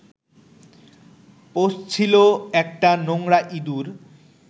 পচছিলো একটা নোংরা ইঁদুর